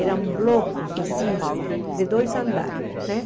Eram blocos, assim, de dois andares, né?